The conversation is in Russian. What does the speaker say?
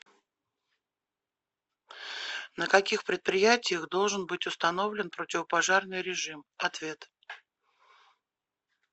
на каких предприятиях должен быть установлен противопожарный режим ответ